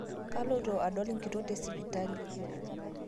Kaloito adol nkitok tesipitali